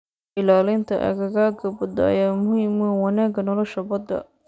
Ilaalinta aagagga badda ayaa muhiim u ah wanaagga nolosha badda.